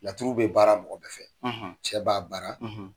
Laturu bɛ baara mɔgɔ bɛ fɛ . Cɛ b'a baara